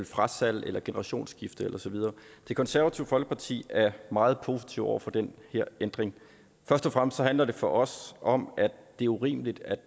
frasalg eller generationsskifte og så videre det konservative folkeparti er meget positive over for den her ændring først og fremmest handler det for os om at det er urimeligt at